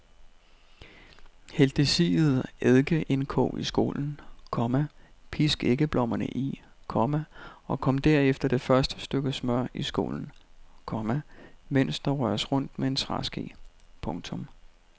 Hæld det siede eddikeindkog i skålen, komma pisk æggeblommerne i, komma og kom derefter det første stykke smør i skålen, komma mens der røres rundt med en træske. punktum